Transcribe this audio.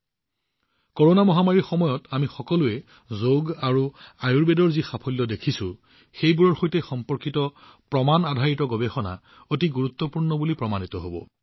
corona গোলকীয় মহামাৰীৰ এই সময়ত আমি সকলোৱে যোগ আৰু আয়ুৰ্বেদৰ শক্তি যিদৰে দেখিছো এইবোৰৰ সৈতে সম্পৰ্কিত প্ৰমাণআধাৰিত গৱেষণাও অতি গুৰুত্বপূৰ্ণ প্ৰমাণিত হব